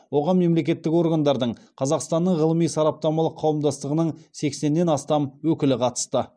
оған мемлекеттік органдардың қазақстанның ғылыми сараптамалық қауымдастығының сексеннен астам өкілі қатысты